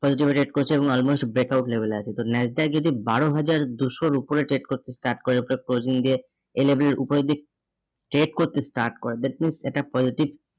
positive rate করেছে এবং almost breakout level এ আছে। তো যদি বারো হাজার দুশোর উপরে trade করতে start করে closing দিয়ে এ level এর উপরের দিক trade করতে start করে that means এটা positive